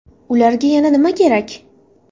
Ularga yana nima kerak?